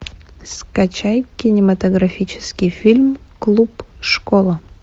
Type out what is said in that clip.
скачай кинематографический фильм клуб школа